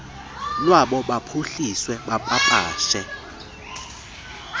lwabo baphuhlise bapapashe